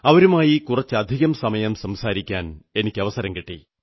അവരുമായി കുറച്ചധികം സമയം സംസാരിക്കാൻ എനിക്കവസരം കിട്ടി